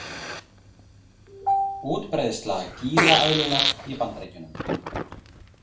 Útbreiðsla gílaeðlunnar í Bandaríkjunum.